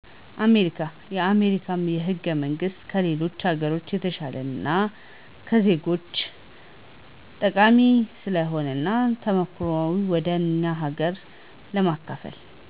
አሜሪካ የአሜሪካ ህገመንግስት ከሌሎች ሀገሮች የተሸለ እና ለዜጎች ጠቃሚ ስለሆነ እና ተሞክሮዎችን ወደ እኛ ሀገር መከፈል